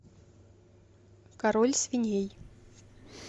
король свиней